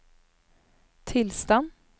tilstand